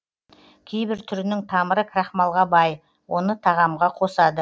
кейбір түрінің тамыры крахмалға бай оны тағамға қосады